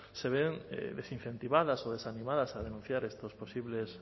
se ven desincentivadas o desanimadas a denunciar estos posibles